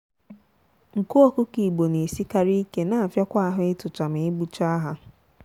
nku ọkụkọ igbo na esikari ike na afiakwa ahụ ịtụcha na egbucha ha.